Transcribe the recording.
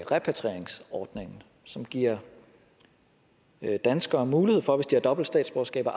repatrieringsordningen som giver danskere mulighed for hvis de har dobbelt statsborgerskab at